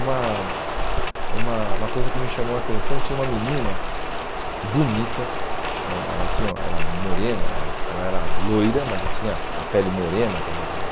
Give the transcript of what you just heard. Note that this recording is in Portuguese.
Uma uma uma coisa que me chamou a atenção, tinha uma menina bonita, hum ela tinha ela era morena, ela era loira, mas tinha a pele morena, quer dizer...